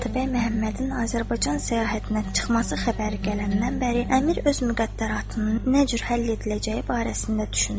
Atabəy Məhəmmədin Azərbaycan səyahətinə çıxması xəbəri gələndən bəri əmir öz müqəddaratını nə cür həll ediləcəyi barəsində düşünürdü.